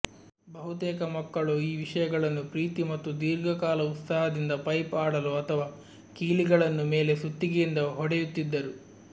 ಬಹುತೇಕ ಮಕ್ಕಳು ಈ ವಿಷಯಗಳನ್ನು ಪ್ರೀತಿ ಮತ್ತು ದೀರ್ಘಕಾಲ ಉತ್ಸಾಹದಿಂದ ಪೈಪ್ ಆಡಲು ಅಥವಾ ಕೀಲಿಗಳನ್ನು ಮೇಲೆ ಸುತ್ತಿಗೆಯಿಂದ ಹೊಡೆಯುತ್ತಿದ್ದರು